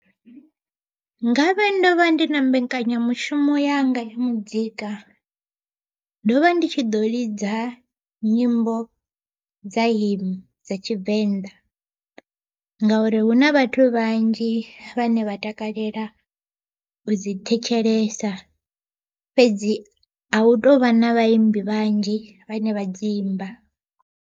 Ngavhe ndo vha ndi na mbekanyamushumo yanga ya muzika, ndo vha ndi tshi ḓo lidza nyimbo dza hym dza tshivenḓa ngauri hu na vhathu vhanzhi vhane vha takalela u dzi thetshelesa, fhedzi a hu tovha na vhaimbi vhanzhi vhane vha dzi imba.